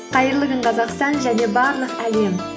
қайырлы күн қазақстан және барлық әлем